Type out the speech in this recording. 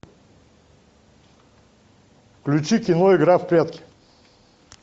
включи кино игра в прятки